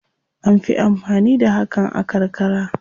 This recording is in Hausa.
An fi amfani da hakan a karkara.